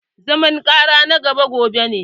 Zaman ƙara na na gaba gobe ne